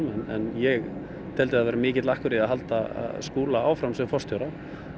en ég teldi að það væri mikill akkur í að halda Skúla áfram sem forstjóra